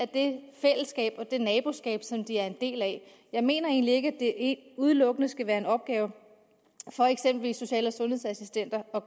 det fællesskab og det naboskab som de er en del af jeg mener egentlig ikke at udelukkende skal være en opgave for eksempelvis social og sundhedsassistenter at